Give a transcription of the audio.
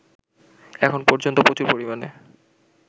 এখনো পর্যন্ত প্রচুর পরিমাণে